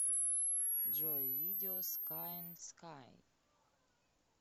джой видео скай эн скай